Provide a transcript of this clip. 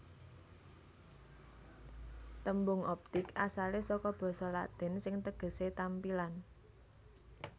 Tembung optik asalé saka basa Latin sing tegesé tampilan